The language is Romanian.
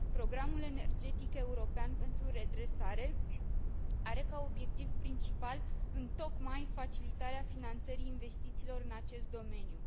Programul energetic european pentru redresare are ca obiectiv principal întocmai facilitarea finanțării investițiilor în acest domeniu.